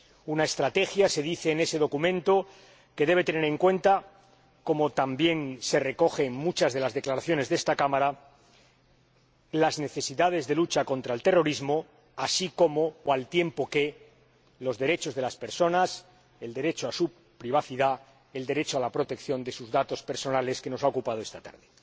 Una estrategia, se dice en ese documento, que debe tener en cuenta —como también se recoge en muchas de las declaraciones de esta Cámara— las necesidades de la lucha contra el terrorismo, así como, o al tiempo que, los derechos de las personas, el derecho a su privacidad, el derecho a la protección de sus datos personales, que hemos tratado esta tarde.